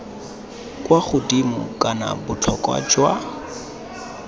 kwa godimo kana botlhokwa jwa